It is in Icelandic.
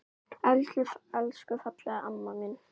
Elsku fallega amma mín.